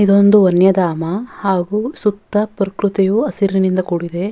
ಇದೊಂದು ವನ್ಯಧಾಮ ಹಾಗು ಸುತ್ತ ಪ್ರಕ್ರುತಿಯು ಹಸಿರಿನಿಂದ ಕೂಡಿದೆ.